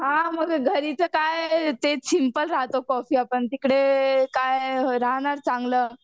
हां मग घरीच काय ते सिंपल राहतो कॉफी तिकडे काय राहणार चांगलं.